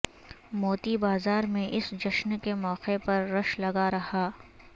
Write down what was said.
موتی بازار میں اس جشن کے موقع پر رش لگا رہا